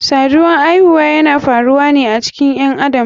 Saduwan aihuwa yana faruwane a cikin ƴen adam.